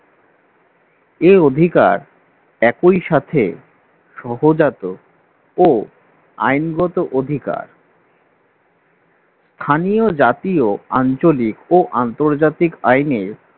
এ অধিকার একই সাথে সহজাত ও আইনগত অধিকার স্থানীয় জাতীয় আঞ্চলিক ও আন্তর্জাতিক আইনে